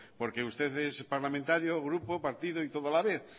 porque usted es parlamentario grupo partido y todo a la vez